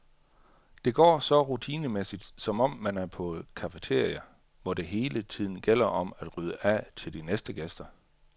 Det går så rutinemæssigt, som om man er på et cafeteria, hvor det hele tiden gælder om at rydde af til de næste gæster.